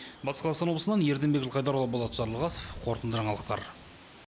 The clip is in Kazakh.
батыс қазақстан облысынан ерденбек жылқайдарұлы болат жарылғасов қорытынды жаңалықтар